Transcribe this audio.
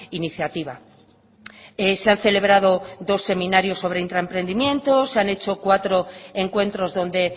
iniciativa se han celebrado dos seminarios sobre intraemprendimiento se han hecho cuatro encuentros donde